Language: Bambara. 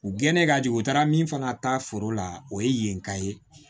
U gɛnɛ ka jigin u taara min fana ta foro la o ye yen ka ye